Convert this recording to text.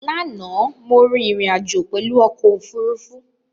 Láànà, mo rín ìrìn àjò pèlu okò òfurufú